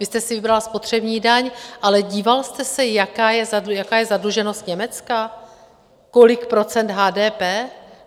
Vy jste si vybral spotřební daň, ale díval jste se, jaká je zadluženost Německa, kolik procent HDP?